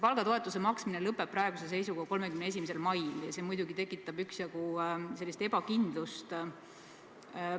Palgatoetuse maksmine lõpeb praeguse seisuga 31. mail ja see muidugi tekitab üksjagu ebakindlust.